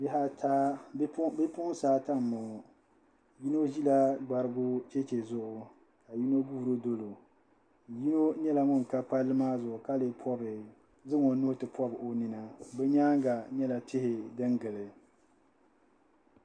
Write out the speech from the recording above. Bipuɣinsi ata m-bɔŋɔ yino ʒila gbarigu cheche zuɣu ka yino guuri doli o yino nyɛla ŋun ka palli maa zuɣu ka lee zaŋ o nuhi ti pɔbi o nina bɛ nyaaŋa nyɛla tihi din gili.